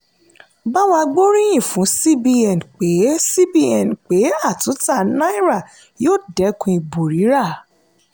bawa gbóríyìn fún cbn pé cbn pé àtúntà náírà yóò dẹ́kun ìbò rírà.